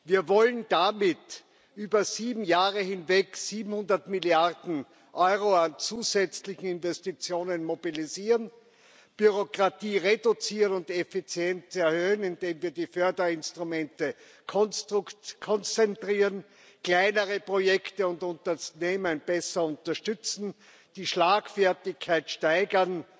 Wir wollen damit über sieben Jahre hinweg 700 Milliarden Euro an zusätzlichen Investitionen mobilisieren, Bürokratie reduzieren und Effizienz erhöhen, indem wir die Förderinstrumente konzentrieren, kleinere Projekte und Unternehmen besser unterstützen, die Schlagfertigkeit steigern